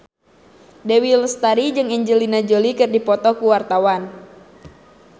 Dewi Lestari jeung Angelina Jolie keur dipoto ku wartawan